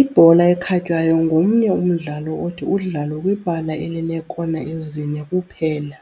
Ibhola ekhatywayo ngomnye umdlalo othi udlalwe kwibala elineekona ezine kuphela.